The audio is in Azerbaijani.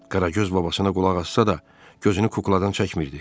Qaragöz babasına qulaq assa da, gözünü kukladan çəkmirdi.